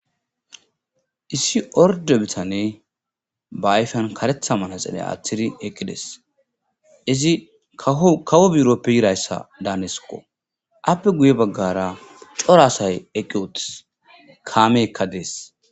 Issi orde bitane baayfan karetha maraxele aaththiri eqqides izi kawo biroppe yirayssa daaneskko appe guye baggara coraasay eqqi utis kaameekka dees.